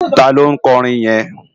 Táló nkòrin yèn?